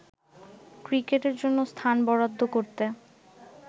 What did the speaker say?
ক্রিকেটের জন্য স্থান বরাদ্দ করতে